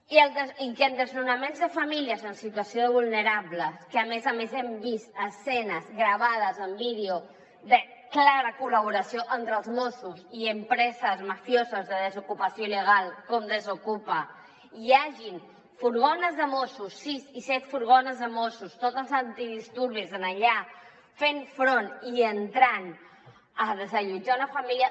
i de desnonaments de famílies en situació vulnerable que a més a més hem vist escenes gravades en vídeo de clara col·laboració entre els mossos i empreses mafioses de desocupació il·legal com desokupa hi hagin furgons de mossos sis i set furgons de mossos tots els antidisturbis allà fent front i entrant a desallotjar una família